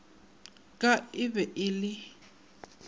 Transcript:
ka e be e le